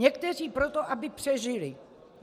Někteří proto, aby přežili.